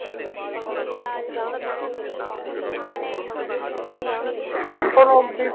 আচ্ছা সেরম কখনো আপনি আহ